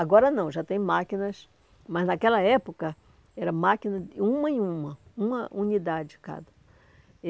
Agora não, já tem máquinas, mas naquela época era máquina de uma em uma, uma unidade cada.